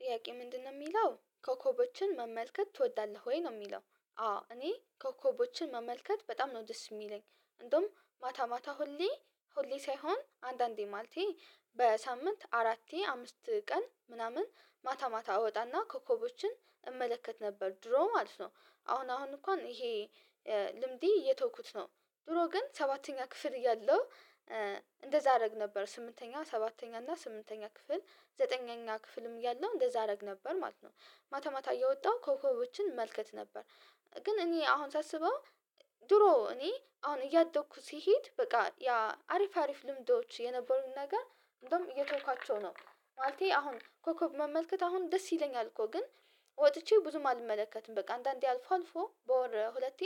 ጥያቄ ምንድነው የሚለው ኮከቦችን መመልከት ትወዳለህ ወይ ነው የሚለው? አዎ እኔ ኮከቦችን መመልከት በጣም ነው ደስ የሚለኝ። እንደውም ማታ ማታ ሁሌ ሁሌ ሳይሆን አንዳንዴ ማለቴ በሳምንት አራቴ አምስት ቀን ምናምን ማታ ማታ እወጣና ኮከቦችን እመለከት ነበር ድሮ ማለት ነው። አሁን አሁን እንኳን ይሄ ልምዴ እየተውኩት ነው። ድሮ ግን ሰባተኛ ክፍል የለው። እንደዛ አደረግ ነበር ስምንተኛ ሰባተኛ እና ስምንተኛ ክፍል ዘጠነኛ ክፍልም እያለው እንደዛ አደረግ ነበር ማለት ነው። ማታ ማታ እየወጣሁ ኮከቦችን መልከት ነበር። ግን እኔ አሁን ሳስበው ድሮ እኔ አሁን እያደኩ ሲሄድ በቃ ያ አሪፍ አሪፍ ልምዶች የነበሩት ነገር እንደውም እየተውኳቸው ነው። ማለቴ አሁን ኮከብ መመልከት አሁን ደስ ይለኛል እኮ ግን ወጥቼ ብዙም አልመለከትም በቃ አንዳንዴ አልፎ አልፎ በወር ሁለቴ